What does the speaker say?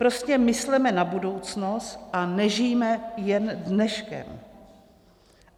Prostě mysleme na budoucnost a nežijme jen dneškem.